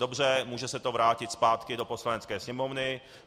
Dobře, může se to vrátit zpátky do Poslanecké sněmovny.